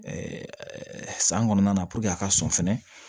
san kɔnɔna na a ka sɔn fɛnɛ